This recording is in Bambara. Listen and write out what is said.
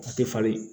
A tɛ falen